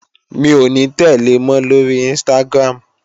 Mi ò ní tẹ̀le mọ́ lóri Instagram